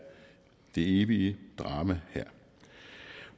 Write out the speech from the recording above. det evige drama her